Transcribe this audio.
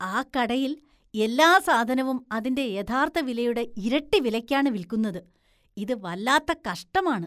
ആ കടയില്‍ എല്ലാ സാധനവും അതിന്റെ യഥാര്‍ത്ഥ വിലയുടെ ഇരട്ടി വിലയ്ക്കാണ് വില്‍ക്കുന്നത്. ഇത് വല്ലാത്ത കഷ്ടമാണ് .